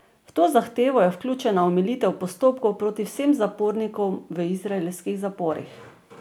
V to zahtevo je vključena omilitev postopkov proti vsem zapornikom v izraelskih zaporih.